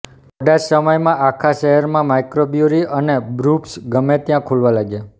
થોડા જ સમયમાં આખા શહેરમાં માઇક્રોબ્રુઅરી અને બ્રુપબ્સ ગમે ત્યાં ખુલવા લાગ્યા